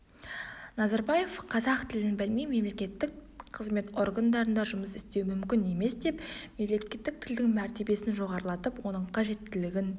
назарбаев қазақ тілін білмей мемлекеттік қызмет органдарында жұмыс істеу мүмкін емес деп мемлекеттік тілдің мәр сін жоғарылатып оның қажеттілігін